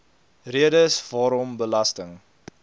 redes waarom belasting